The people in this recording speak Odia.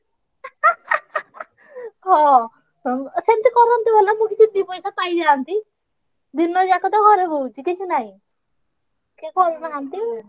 ହଁ ହଁ ସେମତି କରନ୍ତେ ଭଲ ମୁଁ କିଛି ଦିପଇସା ପାଇଯାନ୍ତି ଦିନ ଯାକ ତ ଘରେ ବଉଛି କିଛି ନାହିଁ ।